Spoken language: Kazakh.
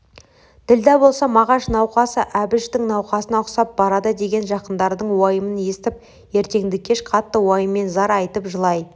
ділдә болса мағаш науқасы әбіштің науқасына ұқсап барады деген жақындардың уайымын естіп ертеңді-кеш қатты уайыммен зар айтып жылай